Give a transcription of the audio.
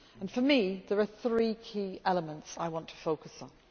For me there are three key elements I want to focus on.